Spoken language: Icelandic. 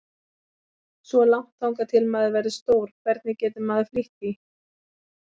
Svo langt þangað til maður verður stór, hvernig getur maður flýtt því?